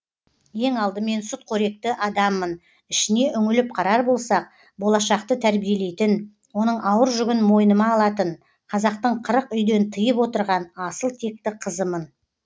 ең алдымен сүтқоректі адаммын ішіне үңіліп қарар болсақ болашақты тәрбиелейтін оның ауыр жүгін мойныма алатын қазақтың қырық үйден тыйып отырған асыл текті қызымын